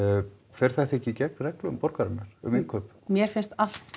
fer þetta ekki gegn reglum borgarinnar um innkaup mér finnst allt